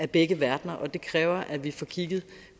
begge verdener og det kræver at vi får kigget